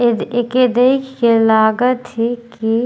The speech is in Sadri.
येदे एके देख के लागत है की --